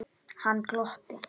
Hann glotti.